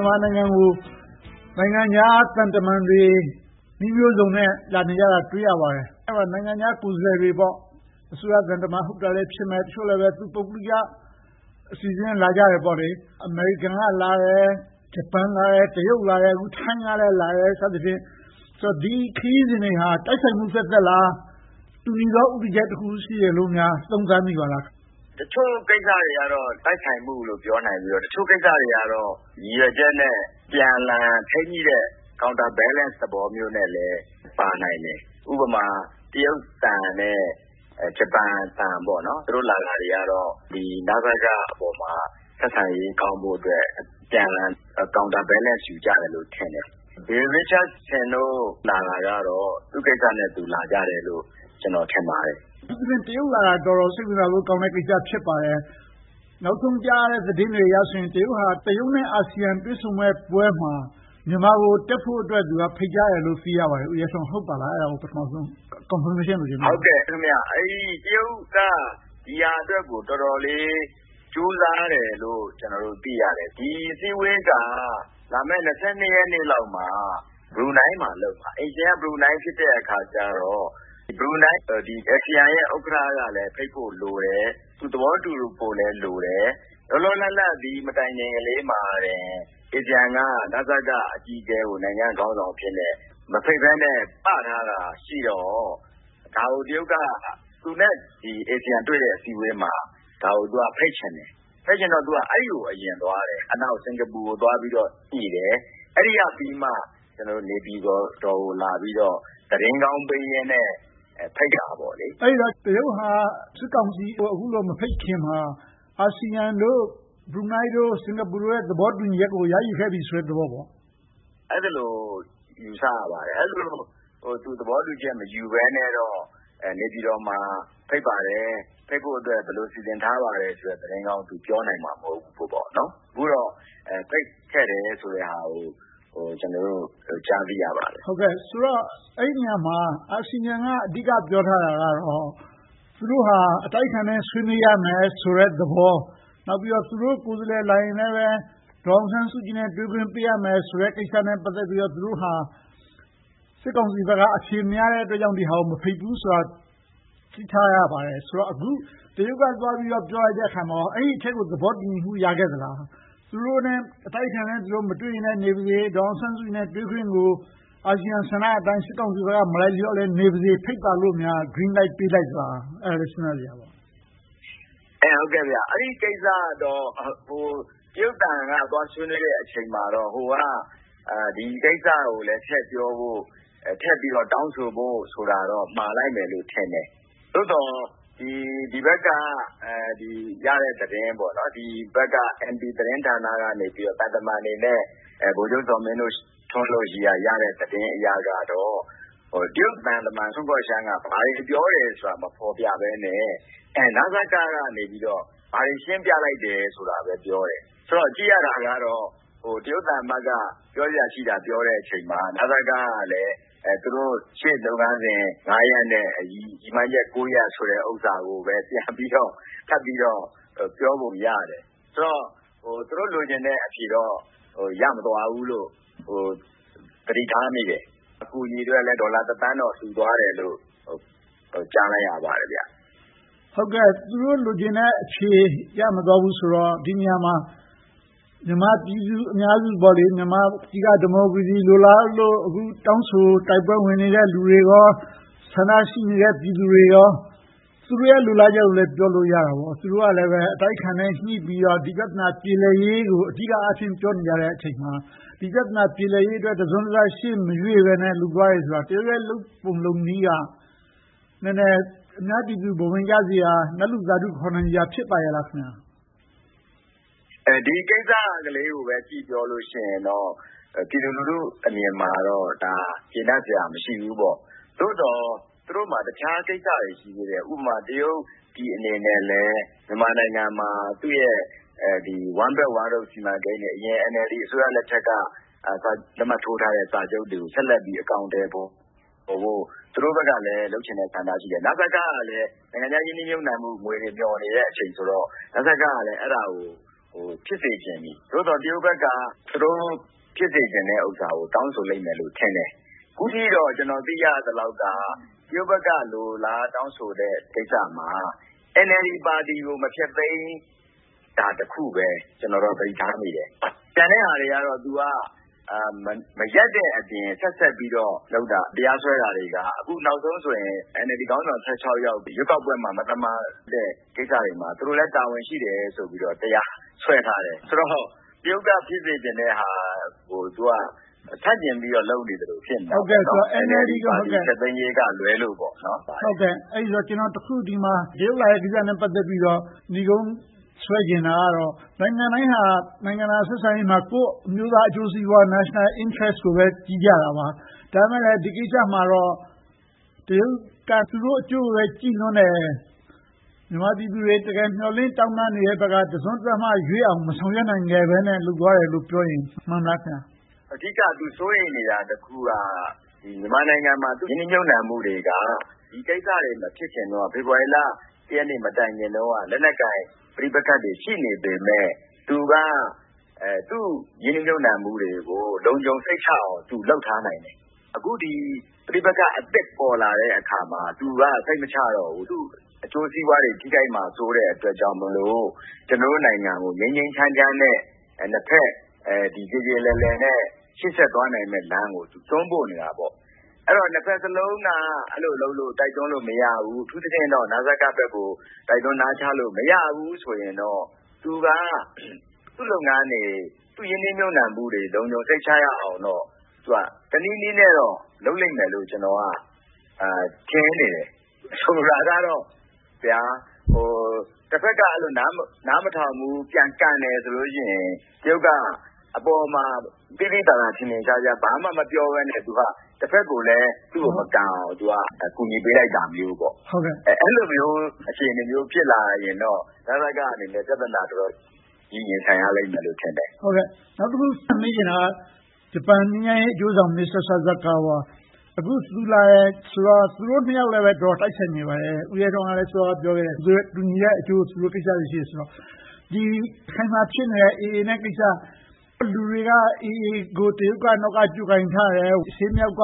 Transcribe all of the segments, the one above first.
န်မာနိုင်ငံကို နိုင်ငံခြားသံတမန်တွေ နည်းမျိုးစုံနဲ့ လာနေကြတာကို တွေ့ရပါတယ်။ နိုင်ငံခြားကိုယ်စားလှယ်တွေ - အစိုးရသံတမန် ဟုတ်တာလည်း ဖြစ်မယ်။ တချို့လဲပဲ ပုဂ္ဂလိက အစီအစဉ်နဲ့ လာကြတယ်။ အမေရိကန်လာတယ်။ ဂျပန်လာတယ်။ တရုတ်လာတယ်။ အခု ထိုင်းကလည်း လာတယ် စသည်ဖြင့်။ ဒီခရီးစဉ်တွေဟာ တိုက်ဆိုင်မှုသက်သက်ပဲလား။ တူညီတဲ့ ဦးတည်ချက်တခု ရှိတယ်လိုများ သုံးသပ်မိပါသလား။ ဖြေ ။ ။ တချို့ကိစ္စတွေကတော့ တိုက်ဆိုင်မှုလို့ ပြောနိုင်ပြီး၊ တချို့ကိစ္စတွေကတော့ ရည်ရွယ်ချက်နဲ့ အပြန်အလှန် ထိန်းညှိတဲ့ counter balance သဘောမျိုးနဲ့လည်း ပါနိုင်တယ်။ ဥပမာ တရုတ်သံနဲ့ ဂျပန်သံ - သူတို့ လာတာတွေကတော့ နစကပေါ်မှာ ဆက်ဆံရေးကောင်းဖို့အတွက် အပြန်အလှန် counter balance ယူကြတယ်လို့ ထင်တယ်။ Bill Richardson တို့ လာတာကတော့ သူ့ကိစ္စနဲ့သူ လာကြတယ်လို့ ကျနော် ထင်ပါတယ်။ မေး ။ ။ အထူးသဖြင့် တရုတ်လာတာ တော်တော်စိတ်ဝင်စားဖို့ကောင်းတဲ့ ကိစ္စ ဖြစ်ပါတယ်။ နောက်ဆုံးကြားရတဲ့ သတင်းတွေအရဆိုရင် တရုတ်က တရုတ်နဲ့ အာဆီယံ တွေ့ဆုံမယ့်ပွဲမှာ မြန်မာကို တက်ဖို့အတွက် ဖိတ်ကြားတယ်လို့ သိရပါတယ်။ ဦးရဲထွန်း ဟုတ်ပါသလား။ အဲဒါကို ပထမဦးဆုံး ကောက်နုတ်ချက်အနေနဲ့ သုံးသပ်ပြပါ။ ဖြေ ။ ။ တရုတ်က ဒီဟာအတွက်ကို တော်တော်လေး ကြိုးစားတယ်လို့ ကျနော်တို့ သိရတယ်။ ဒီအစည်းအဝေးက လာမယ့် ရက်နေ့လောက်မှာ ဘရူးနိုင်းမှာ လုပ်မှာ။ အိမ်ရှင်က ဘရူးနိုင်း ဖြစ်တဲ့အခါကြတော့ အာဆီယံရဲ့ ဥက္ကဋ္ဌကလည်း ဖိတ်ဖို့လိုတယ်။ သူသဘောတူဖို့လည်း လိုတယ်။ လောလောလတ်လတ် ဒီမတိုင်ခင်လေးမှာပင် အာဆီယံက နစကအကြီးအကဲကို နိုင်ငံခေါင်းဆောင်အဖြစ်နဲ့ မဖိတ်ဘဲနဲ့ ‘ပ’ထားတာရှိတော့ ဒါကို တရုတ်က သူနဲ့ အာဆီယံ တွေ့ဆုံမယ့် အစည်းအဝေးမှာ ဒါကိုဖိတ်ချင်တယ်။ ဖိတ်ချင်တော့ အဲဒီကို အရင်သွားတယ်။ နောက် စင်္ကာပူကို သွားပြီးတော့ညှိတယ်။ အဲဒီကပြီးမှ နေပြည်တော်ကို လာပြီးတော့ သတင်းကောင်းပေးရင်နဲ့ ဖိတ်တာပေါ့။ မေး ။ ။ အဲဒီတော့ တရုတ်က စစ်ကောင်စီကို အခုလို မဖိတ်ခင်မှာ အာဆီယံတို့ ဘရူးနိုင်း၊ စင်္ကာပူတို့နဲ့ သဘောတူညီမှု ရယူခဲ့ပြီးပြီဆိုတဲ့ သဘောပေါ့။ ဖြေ ။ ။ အဲဒီလို ယူဆရပါတယ်။ အဲဒီလို သူ သဘောတူညီမှု မယူဘဲနဲ့တော့ နေပြည်တော်မှာ ဖိတ်ပါတယ်။ ဖိတ်ဖို့အတွက် ဘယ်လိုစီစဉ်ထားပါတယ်ဆိုတဲ့ သတင်းကောင်းကို ပြောနိုင်မှာ မဟုတ်ဘူးပေါ့။ အခုတော့ ဖိတ်ခဲ့တယ်ဆိုတဲ့ဟာကို ကျနော်တို့ ကြားသိရပါတယ်။ မေး ။ ။ ဆိုတော့ အဲဒီနေရာမှာ အာဆီယံက အဓိက ပြောထားတာကတော့ သူတို့ဟာ အတိုက်အခံနဲ့ ဆွေးနွေးရမယ်ဆိုတဲ့သဘော။ သူတို့ကိုယ်စားလှယ် လာရင်လဲပဲ ဒေါ်အောင်ဆန်းစုကြည်နဲ့ တွေ့ခွင့်ပေးရမယ်ဆိုတဲ့ ကိစ္စနဲ့ ပတ်သက်ပြီးတော့ သူတို့ဟာ စစ်ကောင်စီဘက်က အဖြေမရတဲ့အတွက် နစကကို မဖိတ်ဘူးဆိုတာကို သိထားရပါတယ်။ အခု တရုတ်က သွားပြီးပြောလိုက်တဲ့အခါမှာ အဲဒီအချက်ကို သဘောတူညီမှု ရခဲ့သလား။ အတိုက်အခံနဲ့ သူတို့ မတွေ့ရလဲ နေပါစေ၊ ဒေါ်အောင်ဆန်းစုကြည်နဲ့ တွေ့ခွင့်ကို အာဆီယံဆန္ဒအတိုင်း စစ်ကောင်စီဘက်က မလိုက်လျောနဲ့ နေပါစေ၊ ဖိတ်ပါလို့များ Green Light ပေးလိုက်သလား။ အဲဒါလဲ စဉ်းစားစရာပါပဲ။ ဖြေ ။ ။ အဲဒီကိစ္စကတော့ တရုတ်သံက သွားဆွေးနွေးတဲ့အချိန်မှာတော့ အာဆီယံက ဒီကိစ္စကိုလည်း ထည့်ပြီးတော့ တောင်းဆိုဖို့ဆိုတာတော့ မှာလိုက်မယ်လို့တော့ထင်တယ်။ သို့သော် ဒီဘက်ကရတဲ့ သတင်း - နေပြည်တော်သတင်းဌာနကနေ သံတမန်တွေနဲ့ ဗိုလ်ချုပ်ဇော်မင်းထွန်းတို့ဘက်ကရတဲ့ သတင်းတွေအရတော့ တရုတ်သံတမန်က ဘာတွေပြောတယ်ဆိုတာကို မဖော်ပြဘဲနဲ့ နစကကနေပြီးတော့ ဘာတွေရှင်းပြလိုက်တယ်ဆိုတာကိုပဲ ပြောတယ်။ ကြည့်ရတာက တရုတ်သံအမတ်က ပြောစရာရှိတာ ပြောတဲ့အခါမှာ နစကကလည်း သူတို့ရှေ့လုပ်ငန်း ရပ်နဲ့ ရည်မှန်းချက် ရပ်ကိုပဲ ပြန်ပြီးတော့ ထပ်ပြီးတော့ ပြောပုံရတယ်။ ဆိုတော့ သူတို့လိုချင်တဲ့ အဖြေတော့ ရမသွားဘူးလို့ သတိထားမိတယ်။ အကူအညီအတွက်လည်း ဒေါ်လာ သန်းတော့ လှူသွားတယ်လို့ ကြားလိုက်ရပါတယ်။ မေး ။ ။ သူတို့လိုချင်တဲ့အဖြေ ရမသွားဘူးဆိုတော့ ဒီနေရာမှာ မြန်မာပြည်သူအများစု မြန်မာပြည်က ဒီမိုကရေစီ လိုလားလို့ အခုတောင်းဆိုတိုက်ပွဲဝင်နေတဲ့ လူတွေကော၊ ဆန္ဒရှိနေတဲ့ ပြည်သူတွေကော သူတို့ရဲ့ လိုလားချက်ကိုလည်း ပြောလို့ရတာပေါ့။ သူတို့လည်း အတိုက်အခံနဲ့ ညှိပြီးတော့ ဒီဘက်ပြဿနာ ပြေလည်ရေးကို အဓိကအားဖြင့် ပြောနေကြတဲ့အချိန်မှာ ဒီပြဿနာ ပြေလည်ရေးအတွက် တစုံတရာ ရှေ့မရွေ့ဘဲနဲ့ လုပ်သွားတယ်ဆိုတာ တရုတ်ရဲ့ လုပ်ပုံလုပ်နည်းက နည်းနည်း အများပြည်သူ ဘဝင်ကျစရာ နတ်လူသာဓု ခေါ်နိုင်စရာ ဖြစ်ပါ့ရဲ့လား။ ဖြေ ။ ။ ဒီကိစ္စကလေးကိုပဲ ကြည့်ပြောမယ်ဆိုရင်တော့ ပြည်သူလူထုအမြင်မှာတော့ ဒါက ကျေနပ်စရာ မရှိဘူးပေါ့။ သို့သော် သူတို့မှာ တခြားကိစ္စတွေ ရှိသေးတယ်။ ဥပမာ တရုတ်ပြည်အနေနဲ့လဲ မြန်မာပြည်မှာ သူ့ရဲ့ One Belt One Road စီမံကိန်းတွေ၊ အရင် NLD အစိုးရလက်ထက်က လက်မှတ်ထိုးထားတဲ့ စာချုပ်တွေကို ဆက်လက်ပြီး အကောင်အထည်ဖော်ဖို့ သူတို့ဘက်ကလဲ လုပ်ချင်တဲ့ ဆန္ဒ ရှိတယ်။ နစကကလဲ နိုင်ငံခြားရင်းနှီးမြုပ်နံှမှုငွေ မျှော်နေတဲ့အချိန်ဆိုတော့ နစကကလည်း အဲဒါကို ဖြစ်စေချင်ပြီ။ သို့သော် တရုတ်ဘက်ကလဲ သူတို့ဖြစ်စေချင်တဲ့ အရာတွေကို တောင်းဆိုလိမ့်မယ် ထင်တယ်။ အခုထိတော့ ကျနော်သိရသလောက်တော့ တရုတ်ဘက်က လိုလားတောင်းဆိုတဲ့ ကိစ္စမှာ NLD ပါတီကို မဖျက်သိမ်းတာတစ်ခုပဲ ကျနော်တော့ သတိထားမိတယ်။ ကျန်တဲ့ဟာတွေကတော့ သူက မရပ်တဲ့အပြင် ဆက်ပြီးတော့ လုပ်တာတွေက တရားစွဲတာတွေက အခုနောက်ဆုံးဆိုရင် NLD ခေါင်းဆောင် ယောက် ရွေးကောက်ပွဲမှာ မသမာတဲ့ ကိစ္စတွေမှာ သူတို့လည်း တာဝန်ရှိတယ်ဆိုပြီးတော့ တရားစွဲထားတယ်။ ဆိုတော့ တရုတ်က ဖြစ်စေချင်တဲ့ဟာကို သူက ဆန့်ကျင်ပြီးတော့ လုပ်နေသလို ဖြစ်နေတယ်။ NLD ဖျက်သိမ်းရေးကလွဲလို့ပါ။ မေး ။ ။ ကျနော် တရုတ်လာတဲ့ကိစ္စနဲ့ ပတ်သက်ပြီးတော့ နိဂုံးဆွဲချင်တာကတော့ နိုင်ငံတိုင်းဟာ နိုင်ငံတကာဆက်ဆံရေးမှာ ကိုယ့်အမျိုးသား အကျိုးစီးပွား national interest ကိုပဲ ကြည့်ကြတာပါ။ ဒါပေမဲ့လဲ ဒီကိစ္စမှာတော့ တရုတ်က သူတို့အကျိုးကိုပဲ ကြည့်လွန်တယ်။ မြန်မာပြည်သူတွေ တကယ်မျှော်လင့်တောင်းတနေတဲ့ဘက်က တစွန်းတစမျှရွေ့အောင် မဆောင်ရွက်နိုင်ဘဲနဲ့ လုပ်သွားတယ်လို့ပြောရင် မှန်သလား။ ဖြေ ။ ။ အဓိက သူစိုးရိမ်နေတာ တစ်ခုက မြန်မာနိုင်ငံမှာ ရင်းနှီးမြုပ်နံှမှုတွေက ဒီကိစ္စတွေ မဖြစ်ခင်တုန်းက ဖေဖေါ်ဝါရီလ ရက်နေ့ မတိုင်ခင် လက်နက်ကိုင် ပဋိပက္ခတွေ ရှိနေပေမယ့် သူ့ရင်းနှီးမြုပ်နံှမှုတွေကို လုံခြုံစိတ်ချအောင် သူလုပ်ထားနိုင်တယ်။ အခု ပဋိပက္ခအသစ် ပေါ်လာတဲ့အခါမှာ သူက စိတ်မချရတော့ဘူး။ သူ့အကျိုးစီးပွားတွေ ထိခိုက်မှာစိုးတဲ့အတွက်ကြောင့် ကျနော်တို့နိုင်ငံကို ငြိမ်းငြိမ်းချမ်းချမ်းနဲ့ နှစ်ဘက်ပြေပြေလည်လည်နဲ့ ရှေ့ဆက်သွားနိုင်မယ့်လမ်းကို တွန်းပို့နေတာပေါ့။ ဆိုတော့ နှစ်ဘက်စလုံးက အဲဒီလိုလုပ်လို့ တိုက်တွန်းလို့ မရဘူး။ အထူးသဖြင့် နစကဘက်ကို တိုက်တွန်းနာချလို့ မရဘူးဆိုရင်တော့ သူက သူ့လုပ်ငန်းတွေ သူ့ရင်းနှီးမြုပ်နံှမှုတွေ လုံခြုံစိတ်ချရအောင်တော့ တနည်းနည်းနဲ့ လုပ်လိမ့်မယ်လို့ ကျနော်က ထင်နေတယ်။ ဆိုလိုတာကတော့ တဘက်က နားမထောင်ဘူး၊ ပြန်ကန်တယ်ဆိုရင် တရုတ်က အပေါ်မှာ သိသိသာသာ ထင်ထင်ရှားရှား ဘာမှမပြောဘဲနဲ့ တဘက်ကိုလည်း သူ့ကိုမကန်အောင် အကူအညီပေးလိုက်တာမျိုးပါ။ အဲဒီလိုမျိုး အခြေအနေမျိုး ဖြစ်လာရင်တော့ နစကအနေနဲ့ ပြဿနာ တော်တော်ကြီးကြီးမားမား ရင်ဆိုင်ရလိမ့်မယ်လို့ ထင်တယ်။ မေး ။ ။ နောက်တခု ထပ်မေးချင်တာက ဂျပန်ငြိမ်းချမ်းရေးအကျိုးဆောင် မစ္စတာဆာဆာကာဝါ - အခု သူလာတယ်ဆိုတော့ သူတို့နှစ်ယောက်လည်း တော်တော်တိုက်ဆိုင်နေပါတယ်။ ဦးရဲထွန်းက စောစောကလဲ ပြောခဲ့တယ်။ တူညီတဲ့အကျိုး သူတို့ကိစ္စတွေ ရှိတယ်ဆိုတော့ ရခိုင်မှာဖြစ်နေတဲ့ AA နဲ့ကိစ္စ၊ လူတွေက AA ကို တရုတ်က နောက်ကနေ ကြိုးကိုင်ထားတယ်။ အရှေ့မြောက်က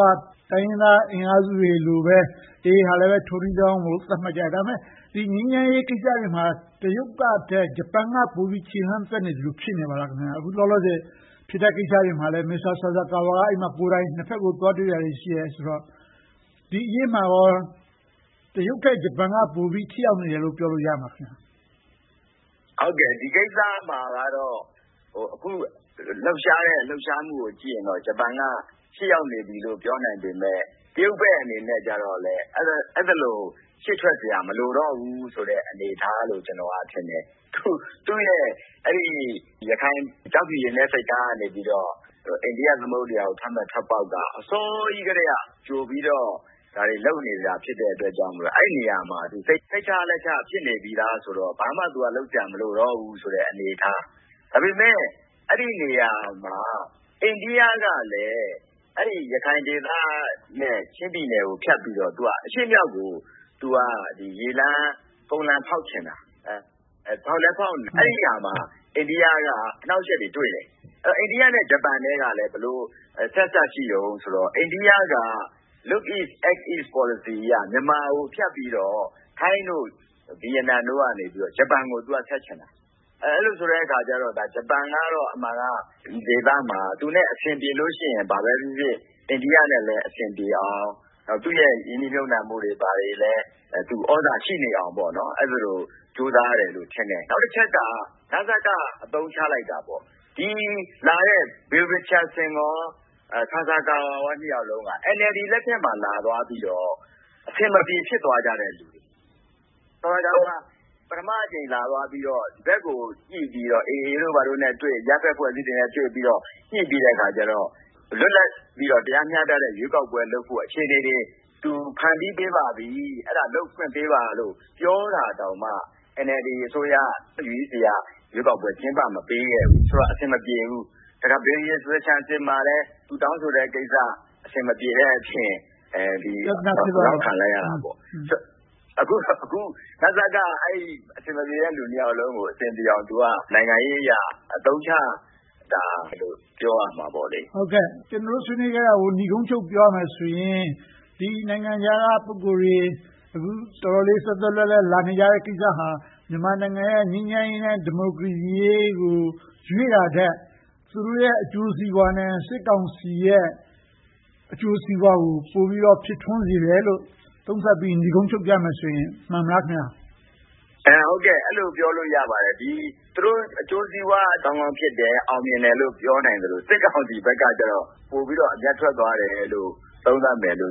တိုင်းရင်းသားအင်အားစုတွေလိုပဲ AA ကလည်း ထိုနည်းလည်းကောင်းလို့ သတ်မှတ်ကြတယ်။ ဒါပေမဲ့ ဒီငြိမ်းချမ်းရေးကိစ္စတွေမှာ တရုတ်ထက် ဂျပန်က ပိုပြီးတော့ ခြေလှမ်းသွက်နေသလို ဖြစ်နေပါလား။ အခုလောလောဆယ် ဖြစ်နေတဲ့ကိစ္စတွေမှာလဲ မစ္စတာဆာဆာကာဝါက နှစ်ဘက်ကို သွားတွေ့တာတွေ ရှိနေတယ်ဆိုတော့ ဒီအရေးမှာကော တရုတ်ထက် ဂျပန်က ပိုပြီးထိရောက်နေတယ်လို့ ပြောလို့ရမလား။ ဖြေ ။ ။ ဒီကိစ္စမှာကတော့ အခုလှုပ်ရှားနေတဲ့ လှုပ်ရှားမှုကို ကြည့်ရင်တော့ ဂျပန်က ရှေ့ရောက်နေပြီလို့ ပြောနိုင်ပေမယ့် တရုတ်ဘက်အနေနဲ့တော့ အဲဒီလို ရှေ့ထွက်စရာ မလိုတော့ဘူးဆိုတဲ့ အနေအထားလို့ ကျနော်ထင်တယ်။ သူ့ရဲ့ ရခိုင်ကျောက်ဖြူရေနက်ဆိပ်ကမ်းကနေ အိန္ဒိယသမုဒ္ဒရာကိုထွက်မယ့် ထွက်ပေါက်က အစောကြီးကတည်းက ဒါတွေလုပ်နေတာ ဖြစ်တဲ့အတွက်ကြောင့် အဲဒီနေရာမှာ စိတ်ချလက်ချ ဖြစ်နေပြီသားဆိုတော့ ဘာမှလုပ်စရာ မလိုတော့ဘူးဆိုတဲ့ အနေအထား။ ဒါပေမဲ့ အဲဒီနေရာမှာ အိန္ဒိကကလဲ ရခိုင်ဒေသနဲ့ ချင်းပြည်နယ်ကိုဖြတ်ပြီးတော့ အရှေ့-မြောက်ကို ရေလမ်း၊ ကုန်လမ်း ဖောက်ချင်တာ။ အဲဒီနေရာမှာ အိန္ဒိယက အနှောင့်အယှက်တွေ တွေ့တယ်။ အိန္ဒိယနဲ့ ဂျပန်ကလည်း ဘယ်လိုအဆက်အစပ် ရှိသလဲဆိုတော့ အိန္ဒိယက Look East Act East Policy အရ မြန်မာကိုဖြတ်ပြီးတော့ ထိုင်း၊ ဗိယက်နမ်တို့ကနေ ဂျပန်ကို ဆက်ချင်တာ။ အဲဒီလိုဆိုတော့ ဂျပန်ကတော့ အမှန်က ဒီဒေသမှာ သူနဲ့ အဆင်ပြေလို့ရှိရင် ဘာပဲဖြစ်ဖြစ် အိန္ဒိယနဲ့လည်း အဆင်ပြေအောင် သူ့ရဲ့ရင်းနှီးမြုပ်နံှမှုတွေလည်း သြဇာရှိနေအောင် အဲဒီလိုကြိုးစားတယ်လို့ ထင်တယ်။ နောက်တချက်က နစက အသုံးချလိုက်တာပေါ့။ လာခဲ့ကြတဲ့ Bill Richardson, မစ္စတာဆာဆာကာဝါ နှစ်ယောက်စလုံးက NLD လက်ထက်မှာ လာသွားပြီးတော့ အဆင်မပြေ ဖြစ်သွားကြတဲ့လူတွေ။ ဆာဆာကာဝါ ပထမအကြိမ် လာသွားပြီးတော့ ဒီဘက်ကို ညှိပြီးတော့ AA တို့ ဘာတို့နဲ့တွေ့၊ အရပ်ဘက်အဖွဲ့အစည်းတွေနဲ့ တွေ့ပြီးတော့ ညှိပြီးတဲ့အခါကြတော့ လွတ်လပ်ပြီးတော့ တရားမျှတတဲ့ ရွေးကောက်ပွဲလုပ်ဖို့ အခြေအနေတွေ ဖန်တီးပေးပါပြီ၊ အဲဒါတွေကို လုပ်ခွင့်ပေးပါလို့ ပြောတာတောင်မှ NLD အစိုးရ CEC က ရွေးကောက်ပွဲ ကျင်းပမပေးခဲ့ဘူး။ ဆိုတော့ အဆင်မပြေဘူး။ နောက် Bill Richardson နဲ့လည်း သူတောင်းဆိုတဲ့ကိစ္စ အဆင်မပြေတဲ့အပြင် ပြဿနာ ဖြစ်သွားတာပေါ့။ အခု နစကက အဲဒီ့အဆင်မပြေတဲ့ နှစ်ယောက်စလုံးကို အဆင်ပြေအောင် နိုင်ငံရေးအရ အသုံးချတာလို့ ပြောရမှာပေါ့။ မေး ။ ။ ကျနော်တို့ ဆွေးနွေးခဲ့တာတွေကို နိဂုံးချုပ်ပြောရမယ်ဆိုရင် နိုင်ငံခြားက ပုဂ္ဂိုလ်တွေ အခုတော်တော်လေး သွက်သွက်လက်လက် လာနေကြတဲ့ကိစ္စဟာ မြန်မာနိုင်ငံရဲ့ ငြိမ်းချမ်းရေးနဲ့ ဒီမိုကရေစီအရေးကို ရွေ့တာထက် သူတို့ရဲ့ အကျိုးစီးပွားနဲ့ စစ်ကောင်စီရဲ့ အကျိုးစီးပွားကို ပိုပြီးတော့ ဖြစ်ထွန်းစေတယ်လို့ သုံးသပ်ပြီး နိဂုံးချုပ်ကြမယ်ဆိုရင် မှန်မလား။ ဖြေ ။ ။ အဲဒီလို ပြောလို့ရပါတယ်။ သူတို့ အကျိုးစီးပွားကောင်းကောင်း ဖြစ်တယ်။ အောင်မြင်တယ်လို့ ပြောနိုင်သလို၊ စစ်ကောင်စီဘက်ကတော့ ပိုပြီးတော့ အမြတ်ထွက်သွားတယ်လို့ သုံးသပ်နို